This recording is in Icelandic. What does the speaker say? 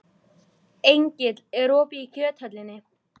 Engill, er opið í Kjöthöllinni?